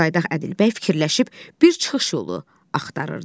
Caydaq Ədilbəy fikirləşib bir çıxış yolu axtarırdı.